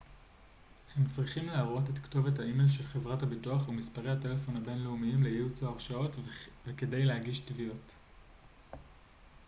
הם צריכים להראות את כתובת האימייל של חברת הביטוח ומספרי הטלפון הבינלאומיים לייעוץ/הרשאות וכדי להגיש תביעות